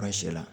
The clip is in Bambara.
la